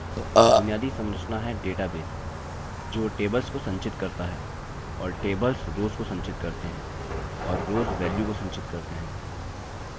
बुनियादी संरचना है डेटाबेस जो टेबल्स को संचित करता है और टेबल्स रोव्स को संचित करते हैं और रोव्स वेल्यू को संचित करते हैं